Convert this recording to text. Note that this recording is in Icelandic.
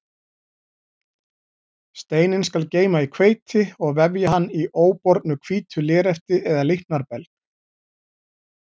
Steininn skal geyma í hveiti og vefja hann í óbornu hvítu lérefti eða líknarbelg.